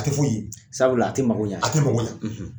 A tɛ foyi ye. Sabula a ti mago ɲa . A tɛ mago ɲa.